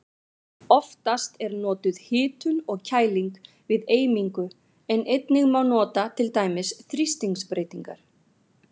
Oftast er notuð hitun og kæling við eimingu en einnig má nota til dæmis þrýstingsbreytingar.